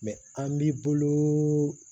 an b'i bolo